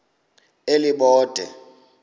elibode